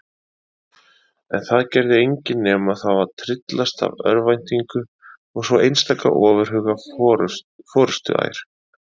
En það gerði engin nema þá að tryllast af örvæntingu og svo einstaka ofurhuga forustuær.